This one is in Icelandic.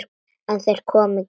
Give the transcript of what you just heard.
En þeir koma ekki.